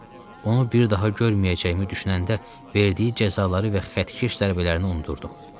Onu bir daha görməyəcəyimi düşünəndə verdiyi cəzaları və xəttkeş zərbələrini unutdum.